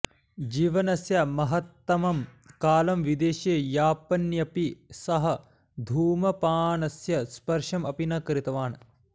जीवनस्य महत्तमं कालं विदेशे यापयन्नपि सः धूमपानस्य स्पर्शम् अपि न कृतवान्